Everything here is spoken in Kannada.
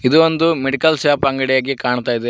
ಇದು ಒಂದು ಮೆಡಿಕಲ್ ಶಾಪ್ ಅಂಗಡಿಯಾಗಿ ಕಾಣ್ತಾ ಇದೆ.